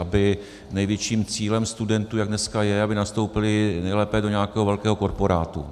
Aby největším cílem studentům, jak dneska je, aby nastoupili nejlépe do nějakého velkého korporátu.